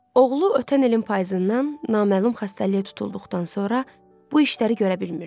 Oğlu ötən ilin payızından naməlum xəstəliyə tutulduqdan sonra bu işləri görə bilmirdi.